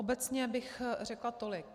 Obecně bych řekla tolik.